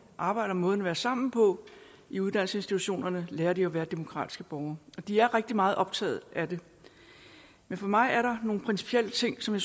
arbejde og måden at være sammen på i uddannelsesinstitutionerne lærer at være demokratiske borgere og de er rigtig meget optaget af det men for mig er der nogle principielle ting som